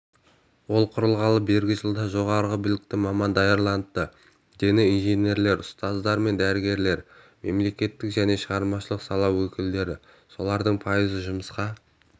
ол құрылғалы бергі жылда жоғары білікті маман даярланыпты дені инженерлер ұстаздар мен дәрігерлер мемлекеттік және шығармашылық сала өкілдері солардың пайызы жұмысқа